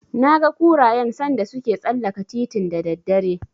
Naga kurayen sanda suke tsallaka titin da daddare.